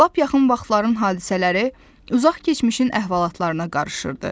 Lap yaxın vaxtların hadisələri uzaq keçmişin əhvalatlarına qarışırdı.